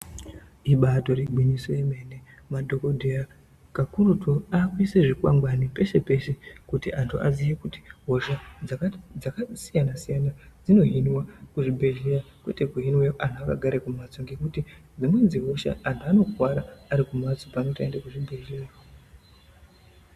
Ibaari gwinyiso remene, madhogodheya kakurutu vaakuise zvikwangwani pese pese kuti vantu vaziye kuti hosha dzakasiyana siyana dzinohinwa kuzvibhedhlera, kwete kuhinwa antu akagara kumhatso ngekuti dzimweni dzehosha antu anokuwara arikumhatso pane kuti aende kuchibhedhlera.